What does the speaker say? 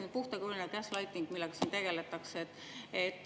See on puhtakujuline gaslighting, millega siin tegeldakse.